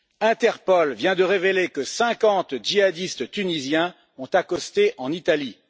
Interpol vient de révéler que 50 djihadistes tunisiens ont accosté en Italie.